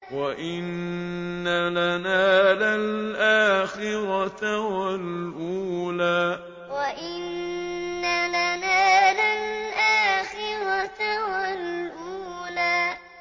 وَإِنَّ لَنَا لَلْآخِرَةَ وَالْأُولَىٰ وَإِنَّ لَنَا لَلْآخِرَةَ وَالْأُولَىٰ